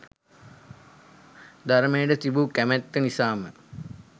ධර්මයට තිබූ කැමැත්ත නිසාම